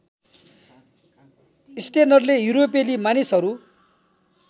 स्टेनरले युरोपेली मानिसहरू